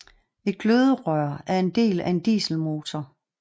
Et gløderør er en del af en dieselmotor